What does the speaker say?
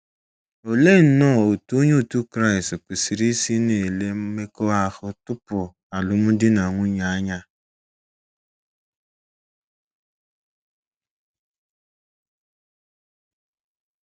Olee nnọọ otú Onye otu Kraịst kwesịrị isi na - ele mmekọahụ tupu alụmdi na nwunye anya?